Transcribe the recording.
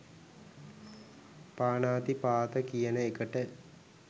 පාණාතිපාත කියන එකට.